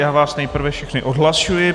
Já vás nejprve všechny odhlašuji.